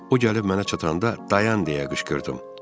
O gəlib mənə çatanda, dayan deyə qışqırdım.